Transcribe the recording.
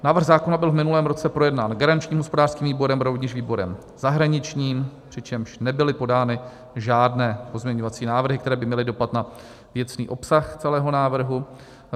Návrh zákona byl v minulém roce projednán garančním hospodářským výborem, rovněž výborem zahraničním, přičemž nebyly podány žádné pozměňovací návrhy, které by měly dopad na věcný obsah celého návrhu.